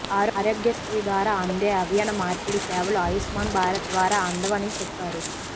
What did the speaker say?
ఆరోగ్య శ్రీ ద్వారా అందే అవయవ మార్పిడి సేవలు ఆయుష్మాన్ భారత్ ద్వారా అందవని చెప్పారు